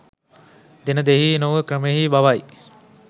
දෙන දෙයෙහි නොව දෙන ක්‍රමයෙහි බවයි.